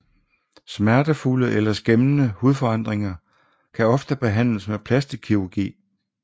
Smertefulde eller skæmmende hudforandringer kan ofte behandles med plastikkirurgi